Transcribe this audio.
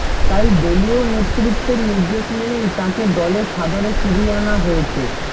তাই দলীয় নেতত্বের নির্দেশ মেনেই তাঁকে দলে সাদরে ফিরিয়ে আনা হয়েছে